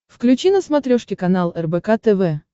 включи на смотрешке канал рбк тв